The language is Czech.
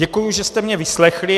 Děkuji, že jste mě vyslechli.